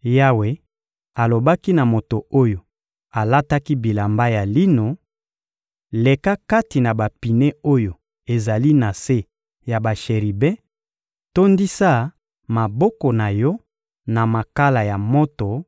Yawe alobaki na moto oyo alataki bilamba ya lino: «Leka kati na bapine oyo ezali na se ya basheribe, tondisa maboko na yo na makala ya moto